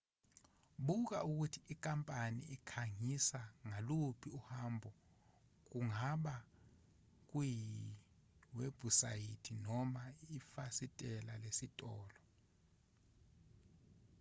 buka ukuthi inkampani ikhangisa ngaluphi uhambo kungaba kuyiwebhusayithi noma efasiteleni lesitolo